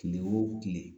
Kile o kile